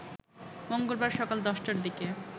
মঙ্গলবার সকাল ১০টার দিকে